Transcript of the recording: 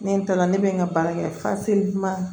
Ne taara ne bɛ n ka baara kɛ